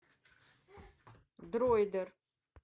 дроидер